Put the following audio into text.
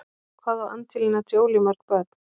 Hvað á Angelina Jolie mörg börn?